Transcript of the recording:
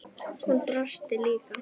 Hún brosti líka.